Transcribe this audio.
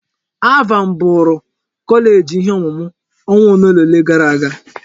ALVAN bụụrụ kọleeji ihe ọmụmụ ọnwa ole gara aga.